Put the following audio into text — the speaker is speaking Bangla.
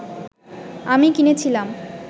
আমি কিনেছিলাম